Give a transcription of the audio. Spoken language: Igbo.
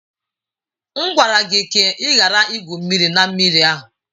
M gwara gị ka ị ghara igwu mmiri na mmiri ahụ!